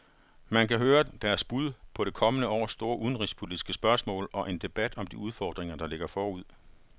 Man kan høre deres bud på det kommende års store udenrigspolitiske spørgsmål og en debat om de udfordringer, der ligger forud.